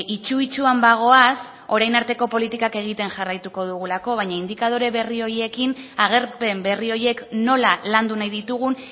itsu itsuan bagoaz orain arteko politikak egiten jarraituko dugulako baina indikadore berri horiekin agerpen berri horiek nola landu nahi ditugun